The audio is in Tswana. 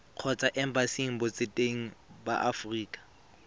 kgotsa embasing botseteng ba aforika